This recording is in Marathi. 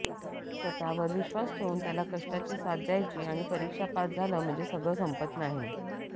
स्वतःवर विश्वास ठेवून त्याला कष्टाची साथ द्यायची आणि परीक्षा पास झालं म्हणजे सगळं संपत नाही